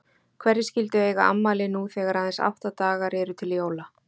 Hverjir skyldu eiga afmæli nú þegar aðeins átta dagar eru til jóla?